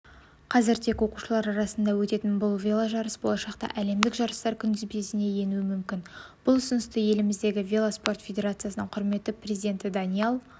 қазір тек оқушылар арасында өтетін бұл веложарыс болашақта әлемдік жарыстар күнтізбесіне енуі мүмкін бұл ұсынысты еліміздегі велоспорт федерациясының құрметті президенті даниал